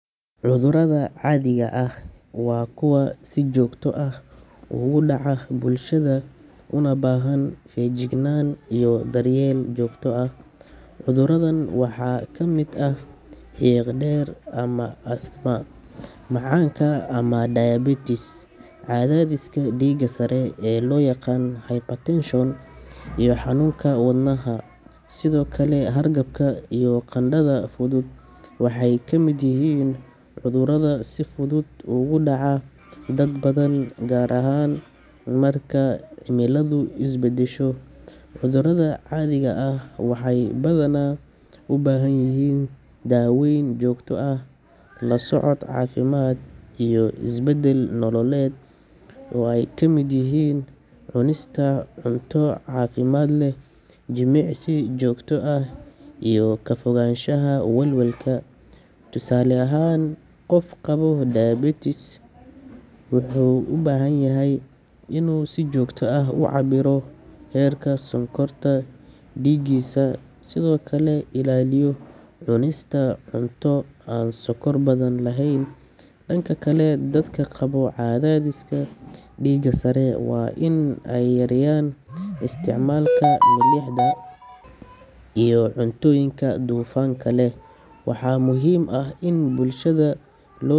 Cudurada caadiga ah waa kuwa si joogto ah uga dhaca bulshada una baahan feejignaan iyo daryeel joogto ah. Cuduradan waxaa ka mid ah xiiqdheer ama asthma, macaanka ama diabetes, cadaadiska dhiigga sare ee loo yaqaan hypertension, iyo xanuunka wadnaha. Sidoo kale, hargabka iyo qandhada fudud waxay ka mid yihiin cudurada si fudud ugu dhaca dad badan, gaar ahaan marka cimiladu is beddesho. Cudurada caadiga ah waxay badanaa u baahan yihiin daaweyn joogto ah, la socod caafimaad, iyo isbeddel nololeed oo ay ka mid yihiin cunista cunto caafimaad leh, jimicsi joogto ah iyo ka fogaanshaha walwalka. Tusaale ahaan, qof qaba diabetes wuxuu u baahan yahay inuu si joogto ah u cabbiro heerka sonkorta dhiiggiisa, sidoo kalena ilaaliyo cunista cunto aan sonkor badan lahayn. Dhanka kale, dadka qaba cadaadiska dhiigga sare waa in ay yareeyaan isticmaalka milixda iyo cuntooyinka dufanka leh. Waxaa muhiim ah in bulshada loo.